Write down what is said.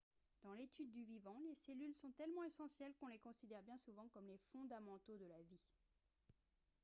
dans l'étude du vivant les cellules sont tellement essentielles qu'on les considère bien souvent comme les fondamentaux de la vie